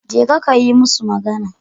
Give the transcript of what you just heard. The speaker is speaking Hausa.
Jeka ka yi musu magana.